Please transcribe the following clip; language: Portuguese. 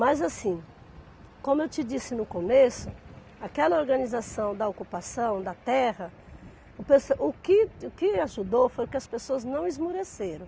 Mas assim, como eu te disse no começo, aquela organização da ocupação da terra, o pes o que o que ajudou foi que as pessoas não esmoreceram.